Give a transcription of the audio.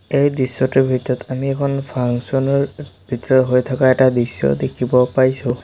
এই দৃশ্যটোৰ ভিতৰত আমি এখন ফাংছন ৰ ভিতৰত হৈ থকা এটা দৃশ্য দেখিব পাইছোঁ।